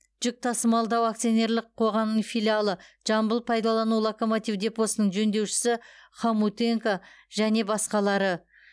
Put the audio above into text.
жүк тасымалдау акционерлік қоғамының филиалы жамбыл пайдалану локомотив депосының жөндеушісі хомутенко және басқалар